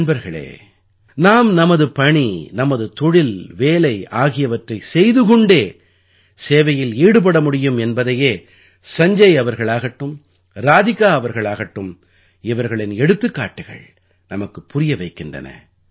நண்பர்களே நாம் நமது பணி நமது தொழில் வேலை ஆகியவற்றைச் செய்து கொண்டே சேவையில் ஈடுபட முடியும் என்பதையே சஞ்ஜய் அவர்களாகட்டும் ராதிகா அவர்களாகட்டும் இவர்களின் எடுத்துக்காட்டுகள் நமக்குப் புரிய வைக்கின்றன